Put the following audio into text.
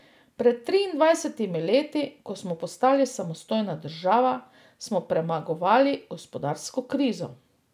Pred triindvajsetimi leti, ko smo postali samostojna država, smo premagovali gospodarsko krizo.